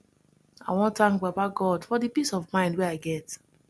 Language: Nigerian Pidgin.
i wan tank baba god for di peace of mind wey i get